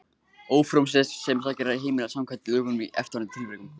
Ófrjósemisaðgerð er heimil samkvæmt lögunum í eftirfarandi tilvikum